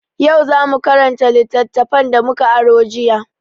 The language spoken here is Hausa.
Yau za mu karanta littattafan da mu ka aro jiya.